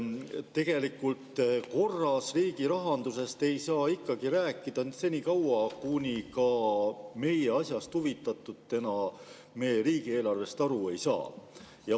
Tegelikult korras riigirahandusest ei saa ikkagi rääkida senikaua, kuni ka meie asjast huvitatutena riigieelarvest aru ei saa.